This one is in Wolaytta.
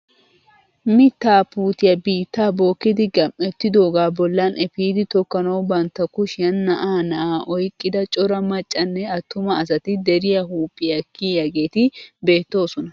Mittaa puutiyaa biittaa bokkidi gam"ettidogaa bollan epiidi tokkanawu bantta kushshiyaan naa"aa naa"aa oyqqida cora maccanne attuma asati deriyaa huuphphiyaa kiyiyaageti beettoosona!